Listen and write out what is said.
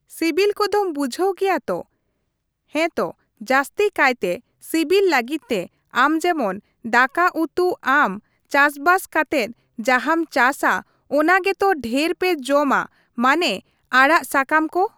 ᱥᱤᱵᱤᱞ ᱠᱚᱫᱚᱢ ᱵᱩᱡᱷᱟᱹᱣ ᱜᱮᱭᱟ ᱛᱚ, ᱦᱮᱸᱛᱚ ᱡᱟᱹᱥᱛᱤ ᱠᱟᱭᱛᱮ ᱥᱤᱵᱤᱞ ᱞᱟᱹᱜᱤᱫ ᱛᱮ ᱟᱢ ᱡᱮᱢᱚᱱ ᱫᱟᱠᱟ ᱩᱛᱩ ᱟᱢ ᱪᱟᱥᱵᱟᱥ ᱠᱟᱛᱮᱜ ᱡᱟᱦᱟᱢ ᱪᱟᱥᱟ ᱚᱱᱟ ᱜᱮᱛᱚ ᱰᱷᱮᱨ ᱯᱮ ᱡᱚᱢᱟ ᱢᱟᱱᱮ ᱟᱲᱟᱜ ᱥᱟᱠᱟᱢ ᱠᱚ ?